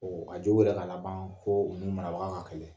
k'a jo b'o la ka labaan koo u n'u marabaga ka kɛlɛ.